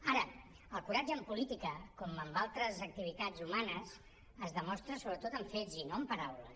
ara el coratge en política com en d’altres activitats humanes es demostra sobretot amb fets i no amb paraules